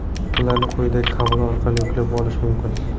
Ularni quyidagi havola orqali yuklab olish mumkin.